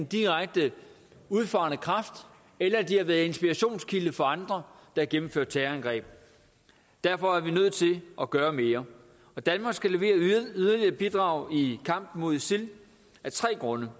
direkte udfarende kraft eller de har været inspirationskilde for andre har gennemført terrorangreb derfor er vi nødt til at gøre mere danmark skal levere yderligere et bidrag i kampen mod isil af tre grunde